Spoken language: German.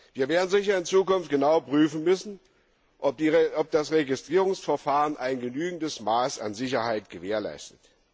Wir werden in Zukunft sicher genau prüfen müssen, ob das Registrierungsverfahren ein genügendes Maß an Sicherheit gewährleistet.